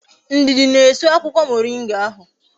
Ndidi na-esu akwukwo moringa ahu